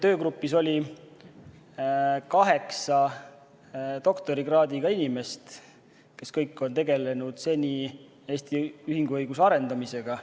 Töögrupis oli kaheksa doktorikraadiga inimest, kes kõik on seni tegelenud Eesti ühinguõiguse arendamisega.